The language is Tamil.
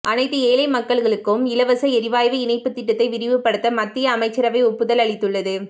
அனைத்து ஏழை மக்களுக்கும் இலவச எரிவாயு இணைப்பு திட்டத்தை விரிவுபடுத்த மத்திய அமைச்சரவை ஒப்புதல் அளித்துள்ளது